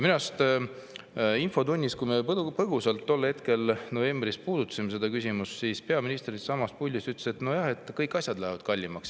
Minu arust novembris, kui me ühes infotunnis põgusalt seda küsimust puudutasime, peaminister siitsamast puldist ütles, et nojah, kõik asjad lähevad kallimaks.